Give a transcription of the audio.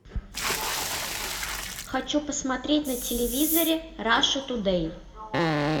хочу посмотреть на телевизоре раша тудей